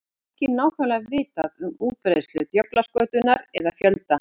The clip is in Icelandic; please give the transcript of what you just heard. Ekki er nákvæmlega vitað um útbreiðslu djöflaskötunnar eða fjölda.